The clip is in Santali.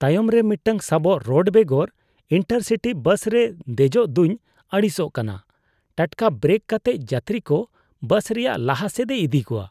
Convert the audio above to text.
ᱛᱟᱭᱚᱢᱨᱮ ᱢᱤᱫᱴᱟᱝ ᱥᱟᱵᱚᱜ ᱨᱚᱰ ᱵᱮᱜᱚᱨ ᱤᱱᱴᱟᱨᱼᱥᱤᱴᱤ ᱵᱟᱥ ᱨᱮ ᱫᱮᱡᱚᱜᱫᱩᱧ ᱟᱹᱲᱤᱥᱟᱜ ᱠᱟᱱᱟ ᱾ ᱴᱟᱴᱠᱟ ᱵᱨᱮᱠ ᱠᱟᱛᱮᱫ ᱡᱟᱛᱨᱤᱠᱚ ᱵᱟᱥ ᱨᱮᱭᱟᱜ ᱞᱟᱦᱟᱥᱮᱫᱼᱮ ᱤᱫᱤ ᱠᱚᱣᱟ ᱾